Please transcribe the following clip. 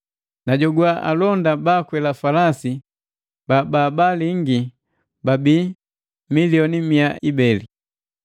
Najogwana alonda baakwela falasi babaalingi babi milioni mia ibeli.